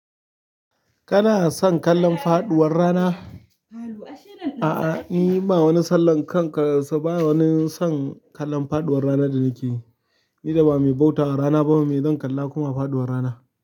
Kana son kallon faɗuwar rana? A'a, ni ba wani sallah kanka, so ba wani son kallon faɗuwar rana da nike yi. Ni da ba mai bautawa rana ba ne, me zan kalla kuma a faɗuwar rana.